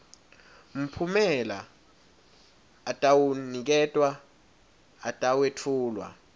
mphumela atawuniketwa atawetfulwa